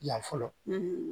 Yan fɔlɔ